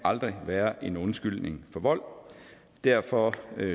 være en undskyldning for vold derfor